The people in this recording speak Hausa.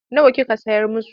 Nawa kika sayar musu?